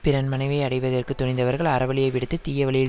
பிறன் மனைவியை அடைவதற்குத் துணிந்தவர்கள் அறவழியை விடுத்துத் தீயவழியில்